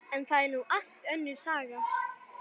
En það er nú allt önnur saga.